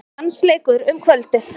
Dansleikur um kvöldið.